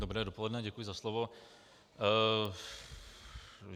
Dobré dopoledne, děkuji za slovo.